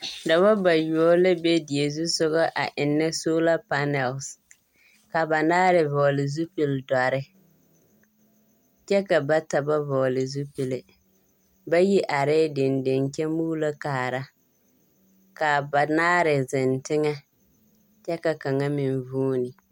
Dɔbɔ bayoɔ la be die zu sɔgɔ a ennɛ solapanɛlese. Ka banaare vɔgele zupildɔrre, kyɛ ka bata ba vɔgele zupille. Bayi arɛɛ dendeŋ kyɛ muulokaara . K'a banaare zeŋ teŋɛ kyɛ ka kaŋa meŋ vuuni.